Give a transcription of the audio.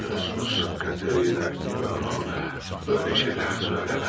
Sus Katerina və ona, belə şeylər söyləmə.